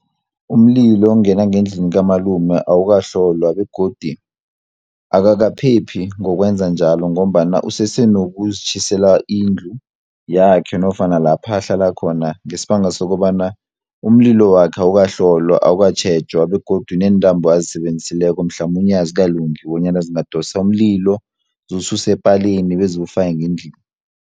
Umlilo ongena ngendlini kamalume awukahlolwa, begodi akakaphephi ngokwenza njalo, ngombana usese nokuzitjhisela indlu yakhe nofana lapha ahlala khona, ngesibanga sokobana umlilo wakhe awukahlolwa awukatjhejwa, begodu neentambo azisebenzisileko mhlamunye azikalungi, bonyana zingadosa umlilo ziwususe epalini bezu ufake ngendlini.